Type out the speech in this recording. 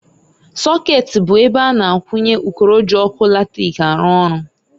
Sokeeti bụ ebe a na-akwụnye ụkọrọ ji ọkụ latric arụ ọrụ.